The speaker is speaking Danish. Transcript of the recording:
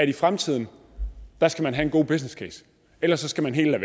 i fremtiden skal have en god businesscase ellers skal man helt